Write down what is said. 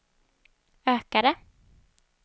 ökade